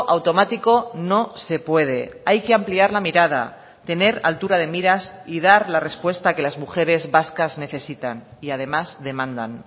automático no se puede hay que ampliar la mirada tener altura de miras y dar la respuesta que las mujeres vascas necesitan y además demandan